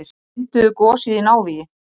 Mynduðu gosið í návígi